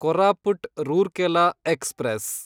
Koraput Rourkela express